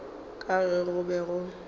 ka ge go be go